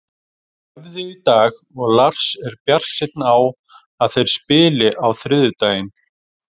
Þeir æfðu í dag og Lars er bjartsýnn á að þeir spili á þriðjudaginn.